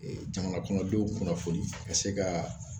jamana kɔnɔdenw kunnafoni ka se kaa